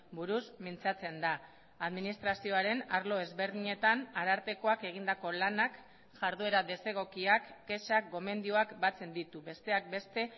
buruz mintzatzen da administrazioaren arlo ezberdinetan arartekoak egindako lanak jarduera desegokiak kexak gomendioak batzen ditu besteak beste